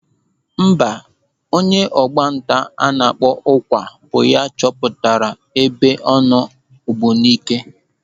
Mba, onye ọgbanta a na-akpọ Ụkwa bụ ya chọpụtara ebe ọnụ Ógbùníkè.